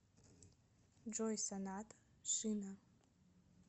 джой соната шина